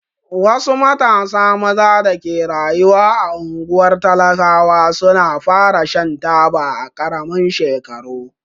Wasu matasa maza da ke rayuwa a unguwar talakawa su na fara Shan taba a karamin shekaru.